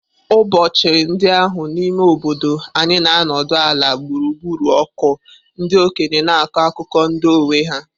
Ụbọchị ndị ahụ n'ime obodo anyị na-anọdụ ala gburugburu ọkụ, ndị okenye ga-akọ akụkọ ndụ onwe ha.